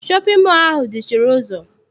Shọpịn mọọ ahụ dị chịrị ụzọ.